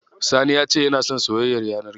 Sani ya ce yana son soyayyar yanar gizo.